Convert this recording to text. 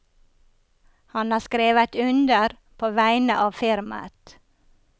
Han har skrevet under på vegne av firmaet.